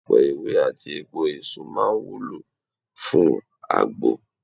Ọ̀pọ̀lọpọ̀ ewé àti èpo èso máa ń wúlò fún agbo.